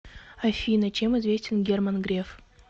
афина чем известен герман греф